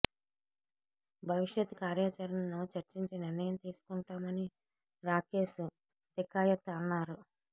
భవిష్యత్ కార్యాచరణను చర్చించి నిర్ణయం తీసుకుంటామని రాకేష్ తికాయత్ అన్నారు